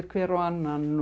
hver á annan